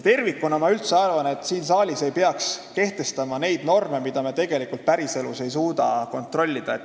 Tervikuna ma üldse arvan, et siin saalis ei peaks kehtestama neid norme, mida päriselus ei suudeta kontrollida.